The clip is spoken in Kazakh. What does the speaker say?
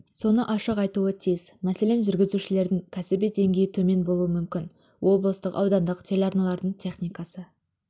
соны ашық айтуы тиіс мәселен жүргізушілердің кәсіби деңгейі төмен болуы мүмкін облыстық аудандық телеарналардың техникасы